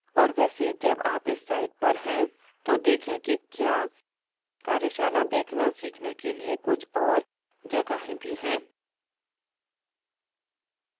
और वैसे जब आप इस site पर हैं तो देखें कि क्या कार्यशाला देखना सीखने के लिए कुछ और जगहें भी हैं